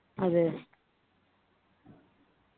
അതെ